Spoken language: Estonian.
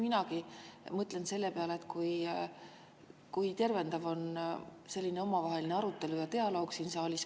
Minagi mõtlen selle peale, kui tervendav on selline omavaheline arutelu ja dialoog siin saalis.